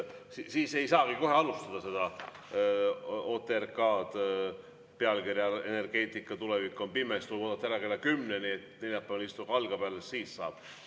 Siis ei saagi kohe alustada seda OTRK-d pealkirjaga "Energeetika tulevik on pime?", tuleb oodata ära kella kümneni, kui neljapäevane istung algab, alles siis saab.